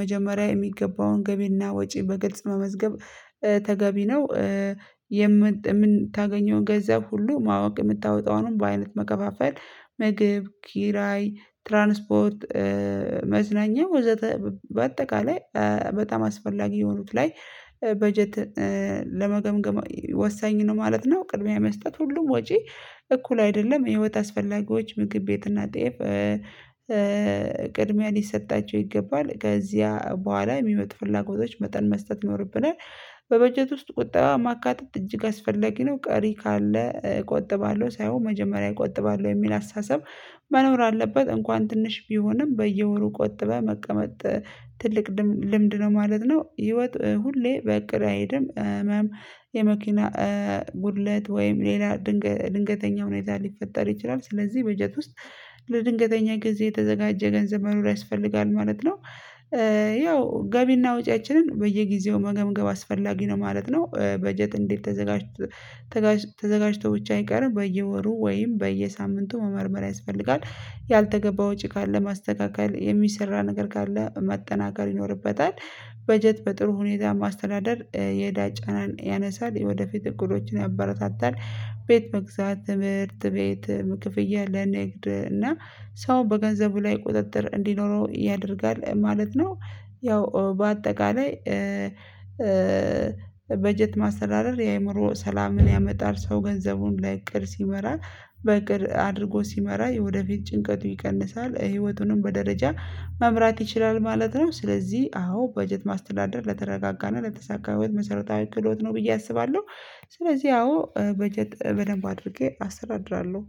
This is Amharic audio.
መጀመሪያ የሚገባውን ገቢና ወጪ በግልጽ መመዝገብ ተገቢ ነው። የምን የምታገኘውን ገንዘብ ሁሉ ማወቅ የምታወጣውንም በአይነት መከፋፈል ምግብ ኪራይ ትራንስፖርት መዝናኛ ወዘተ በአጠቃላይ በጣም አስፈላጊ የሆኑት ላይ በጀት ለመገምገም ወሳኝ ነው ማለት ነው። ቅድሚያ መስጠት ሁሉም ወጪ እኩል አይደለም ህይወት አስፈላጊዎች ምግብ ቤት እና ጤፍ ቅድሚያ ሊሰጣቸው ይገባል ከዚያ በኋላ የሚመጡ ፍላጎቶች መጠን መስጠት ይኖርብናል። በበጀት ውስጥ ቁጠባን ማካተት እጅግ አስፈለጊ ነው ቀሪ ካለ እቆጥባለሁ ሳይሆን መጀመሪያ እቆጥባለሁ የሚል አስተሳሰብ መኖር አለበት እንኳን ትንሽ ቢሆንም በየወሩ ቆጥበህ መቀመጥ ትልቅ ልምድ ነው ማለት ነው። ህይወት ሁሌ በእቅድ አይሄድም ህመም የመኪና ጉድለት ወይም ሌላ ድንገተኛ ሁኔታ ሊፈጠር ይችላል ስለዚህ በጀት ውስጥ ለድንገተኛ ጊዜ የተዘጋጀ ገንዘብ መኖር ያስፈልጋል ማለት ነው። ያው ገቢና ወጪያችንን በየጊዜው መገምገም አስፈላጊ ነው ማለት ነው። በጀት እንዴት ተዘጋጅቶ ተዘጋጅቶ ብቻ አይቀርም በየወሩ ወይም በየሳምንቱ መመርመር ያስፈልጋል። ያልተገባ ወጪ ካለ ማስተካከል የሚሰራ ነገር ካለ ማጠናከር ይኖርበታል። በጀት በጥሩ ሁኔታ ማስተዳደር የእዳ ጫናን ያነሳል የወደፊት እቅዶችን ያበረታታል ቤት መግዛት ትምህርት ቤት ክፍያ ለንግድ እና ሰው በገንዘቡ ላይ ቁጥጥር እንዲኖረው ያደርጋል ማለት ነው። ያው በአጠቃላይ በጀት ማሰራረር የአእምሮ ሰላምን ያመጣል ሰው ገንዘቡን በእቅድ ሲመራ በእቅድ አድርጎ ሲመራ የወደፊት ጭንቀቱ ይቀንሳል ህይወቱንም በደረጃ መምራት ይችላል ማለት ነው። ስለዚህ አዎ በጀት ማስተዳደር ለተረጋጋና ለተሳካ ህይወት መሰረታዊ ክህዶት ነው ብዬ አስባለሁ። ስለዚህ አዎ በጀት በደንብ አድርጌ አስተዳድራለሁ